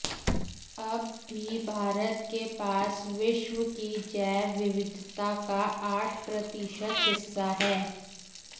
अब भी भारत के पास विश्व की जैव विविधता का आठ प्रतिशत हिस्सा है